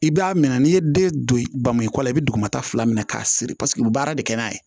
I b'a minɛ n'i ye den don bamuko la i bɛ dugumata fila minɛ k'a siri paseke u bɛ baara de kɛ n'a ye